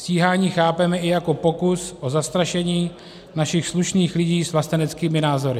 Stíhání chápeme i jako pokus o zastrašení našich slušných lidí s vlasteneckými názory.